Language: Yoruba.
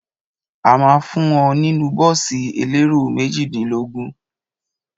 A ma ń fún ọ nínú bọ́ọ̀sì elérò méjìdínlógún.